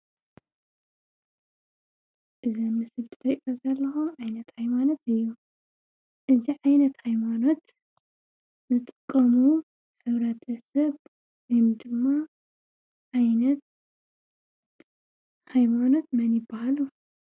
እዚ ትሪእዩዎ ዘለኹም ዓይነት ኃይማኖት እዩ፡፡ እዚ ዓይነት ኃይማኖት ዝጥቀሙ ሕብረተሰብ ወይድማ ዓይነት ኃይማኖት መን ይበሃሉ?